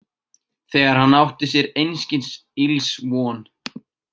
Þegar hann átti sér einskis ills von.